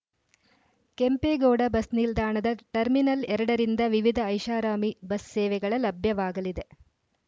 Kempegowda bus ನಿಲ್ದಾಣದ terminal ಎರಡ ರಿಂದ ವಿವಿಧ ಐಷಾರಾಮಿ ಬಸ್‌ ಸೇವೆಗಳ ಲಭ್ಯವಾಗಲಿದೆ